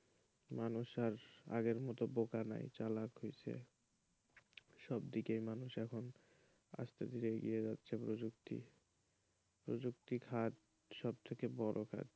মানুষ আর আগের মত বোকা নাই চালাক হইছে সবদিকেই মানুষ এখন আস্তে আস্তে এগিয়ে যাচ্ছে প্রযুক্তি প্রযুক্তি খাত সবথেকে বড় খাত,